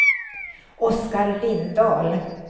Oscar Lindahl